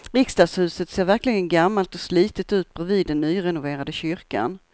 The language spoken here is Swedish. Riksdagshuset ser verkligen gammalt och slitet ut bredvid den nyrenoverade kyrkan.